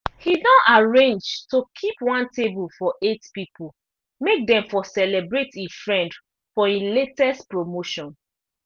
he don arrange to keep one table for eight pipo make them for celebrate e friend for e latest promotion